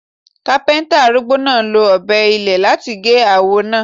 Kápẹ́ńtà arúgbó náà lo Ọ̀bẹ ilé láti gé awọ náà.